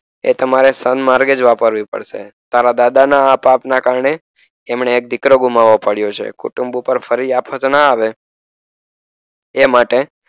એ તમારે સ્તન માર્ગે જ વાપરવી પડશે તારદાદા ના આ પાપ ના કારણે એમને એક દીકરો ગુમાવો પડ્યો છે કુટુંબ પર ફરી આ ના આવે એ માટે